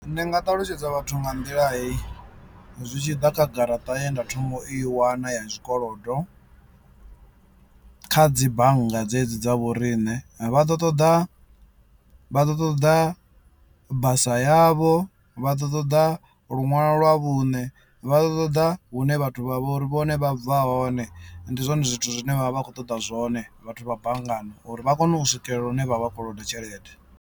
Ndi nga ṱalutshedza vhathu nga nḓila hei zwi tshi ḓa kha garaṱa ye nda thoma u i wana ya zwikolodo kha dzi bannga dzedzi dza vhoriṋe vha ḓo ṱoḓa vha ḓo ṱoḓa basa yavho, vha ḓo ṱoḓa lunwalo lwa vhuṋe, vha ḓo ṱoḓa hune vhathu vha vho uri vhone vha bva hone. Ndi zwone zwithu zwine vhavha vha khou ṱoḓa zwone vhathu vha banngani uri vha kone u swikela hune vha vha koloda tshelede.